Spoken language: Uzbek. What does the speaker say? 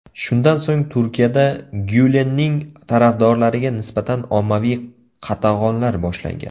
Shundan so‘ng, Turkiyada Gyulenning tarafdorlariga nisbatan ommaviy qatag‘onlar boshlangan.